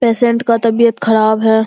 Patient का तबीयत खराब है।